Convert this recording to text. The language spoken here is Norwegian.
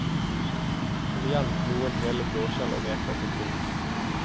Hold igjen noen hele blåskjell og reker til pynt.